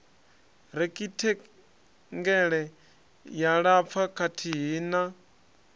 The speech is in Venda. rekhithengele ya lapfa kathihi na